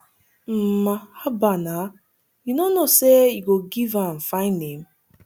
um haba na you no know say you go give am fine name